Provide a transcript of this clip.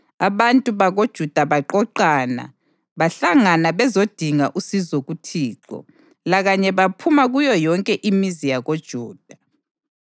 Abantu bakoJuda baqoqana bahlangana bezodinga usizo kuThixo, lakanye baphuma kuyo yonke imizi yakoJuda.